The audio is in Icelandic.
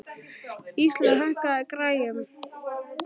Íslaug, hækkaðu í græjunum.